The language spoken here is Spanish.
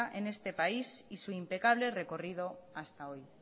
en este país y su impecable recorrido hasta hoy